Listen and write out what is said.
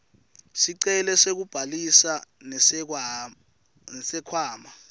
sicelo sekubhalisa nesikhwama